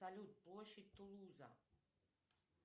салют площадь тулуза